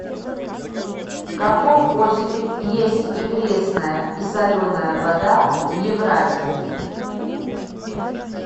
в каком озере есть и пресная и соленая вода в евразии